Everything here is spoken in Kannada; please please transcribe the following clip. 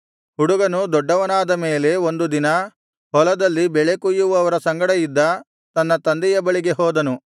ಹುಡುಗನು ದೊಡ್ಡವನಾದ ಮೇಲೆ ಒಂದು ದಿನ ಹೊಲದಲ್ಲಿ ಬೆಳೆ ಕೊಯ್ಯುವವರ ಸಂಗಡ ಇದ್ದ ತನ್ನ ತಂದೆಯ ಬಳಿಗೆ ಹೋದನು